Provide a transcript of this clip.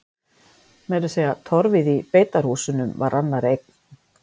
Meira að segja torfið í beitarhúsunum var annarra eign.